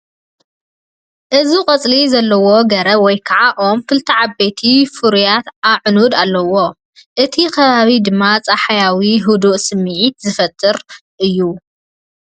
እዚ ቆጽሊ ዘለዎ ገረብን ወይ ከዓ ኦም ክልተ ዓበይቲ ፍሩያት ኣዕኑድን ኣለውዎ። እቲ ከባቢ ድማ ጸሓያውን ህዱእን ስምዒት ዝፈጥር እዩ።